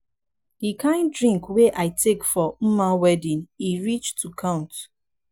the kin drink wey i take for mma wedding e reach to count.